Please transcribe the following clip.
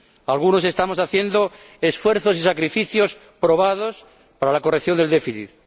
Algunos estamos haciendo esfuerzos y sacrificios probados para la corrección del déficit.